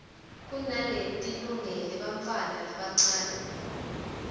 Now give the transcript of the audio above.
kunaletilungele bantfwana labancane